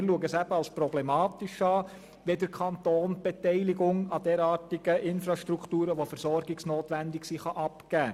Wir ersehen es als problematisch, wenn der Kanton die Beteiligung an versorgungsnotwendigen Infrastrukturen abgibt.